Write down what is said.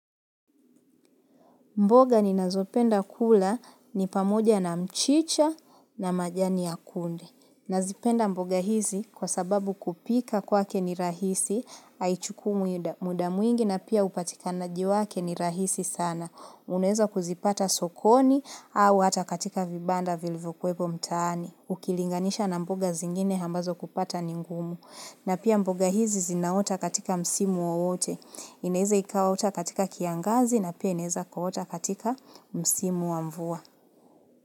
Mboga ninazopenda kula ni pamoja na mchicha na majani ya kunde. Nazipenda mboga hizi kwa sababu kupika kwake ni rahisi, haichukui muda mwingi na pia upatikanaji wake ni rahisi sana. Unaeza kuzipata sokoni au hata katika vibanda vilivyokuwepo mtaani. Ukilinganisha na mboga zingine ambazo kupata ni ngumu. Na pia mboga hizi zinaota katika msimu wowote. Inaeza ikaota katika kiangazi na pia inaeza kuota katika msimu wa mvua.